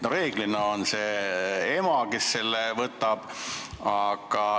Reeglina on see ema, kes seda puhkust võtab.